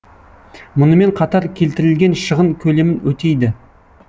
мұнымен қатар келтірілген шығын көлемін өтейді